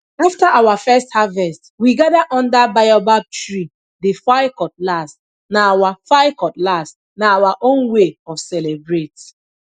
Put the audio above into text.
after our first harvest we gather under baobab tree dey file cutlass na our file cutlass na our own way of celebrate